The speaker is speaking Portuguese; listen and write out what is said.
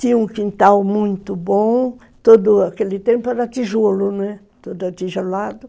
Tinha um quintal muito bom, todo aquele tempo era tijolo, né, todo tijolado.